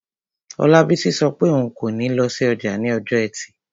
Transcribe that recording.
Olabisi sọ pé òun kò ní lọ sí ọjà ní ọjọ́ ẹtì